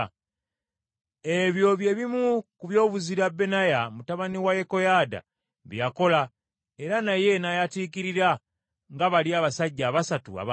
Ebyo bye bimu ku byobuzira Benaya mutabani wa Yekoyaada bye yakola, era naye n’ayatiikirira nga bali abasajja abasatu ab’amaanyi.